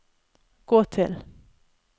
gå til